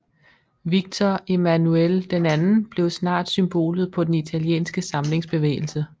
Victor Emmanuel II blev snart symbolet på den italienske samlingsbevægelse